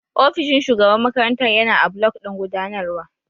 Ofishin Shugaban makarantar yana a block ɗin gudanarwa.